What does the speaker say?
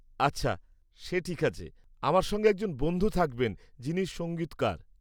আচ্ছা, সে ঠিক আছে। আমার সঙ্গে একজন বন্ধু থাকবেন যিনি সঙ্গীতকার।